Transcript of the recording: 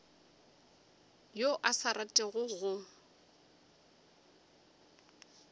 yo a sa ratego go